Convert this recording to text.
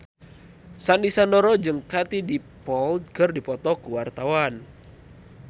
Sandy Sandoro jeung Katie Dippold keur dipoto ku wartawan